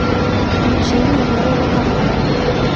включение первого канала